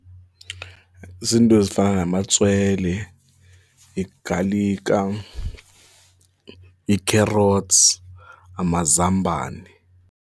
Ziinto ezifana namatswele, igalika, ii-carrots, amazambane.